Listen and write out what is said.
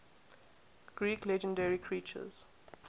greek legendary creatures